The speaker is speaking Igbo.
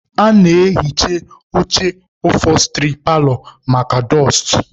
A na-ehicha oche ofosturị paalọ maka dụstụ